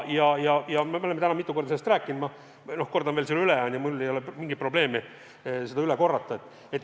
Me oleme täna mitu korda sellest rääkinud, aga ma kordan veel üle – mulle ei ole mingi probleem seda üle korrata.